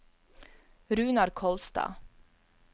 Runar Kolstad